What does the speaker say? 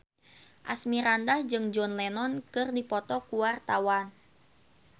Asmirandah jeung John Lennon keur dipoto ku wartawan